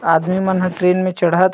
आदमी मन ह ट्रेन मे चढ़त--